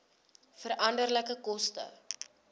veranderlike koste